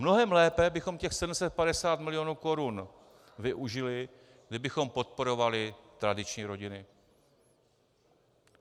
Mnohem lépe bychom těch 750 milionů korun využili, kdybychom podporovali tradiční rodiny.